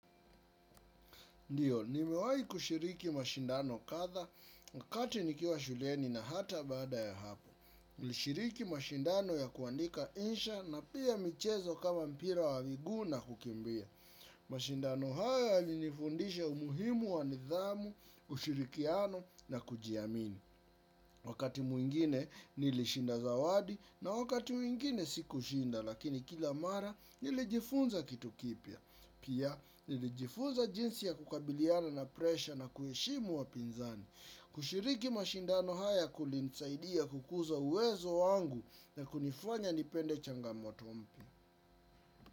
Ndio, nimewahi kushiriki mashindano kadha, wakati nikiwa shuleni na hata baada ya hapo. Tulishiriki mashindano ya kuandika insha na pia michezo kama mpira wa miguu na kukimbia. Mashindano haya yalinifundisha umuhimu wa nidhamu, ushirikiano na kujiamini. Wakati mwingine nilishinda zawadi na wakati mwingine sikushinda lakini kila mara nilijifunza kitu kipya. Pia, nilijifuza jinsi ya kukabiliana na presha na kuheshimu wapinzani, kushiriki mashindano haya kulinisaidia kukuza uwezo wangu na kunifanya nipende changamoto mpyq.